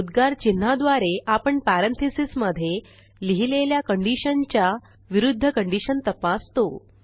उद्गार चिन्हाद्वारे आपण पॅरेंथीसेस मधे लिहिलेल्या कंडिशनच्या विरूध्द कंडिशन तपासतो